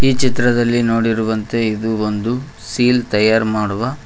ಚಿತ್ರದಲ್ಲಿ ನೋಡಿರುವಂತೆ ಇದು ಒಂದು ಸೀಲ್ ತಯಾರ ಮಾಡುವ.